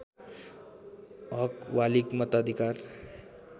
हक बालिग मताधिकार